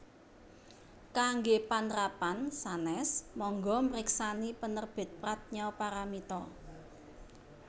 Kanggé panrapan sanès mangga mriksani Penerbit Pradnya Paramita